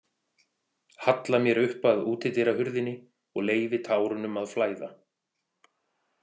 Halla mér upp að útidyrahurðinni og leyfi tárunum að flæða.